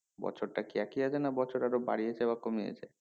বছরটা কি একই আছে না বছর আবার বাড়িয়েছে বা কমিয়েছে